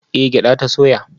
Eh gyada ta soya